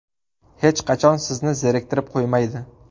Hech qachon sizni zeriktirib qo‘ymaydi.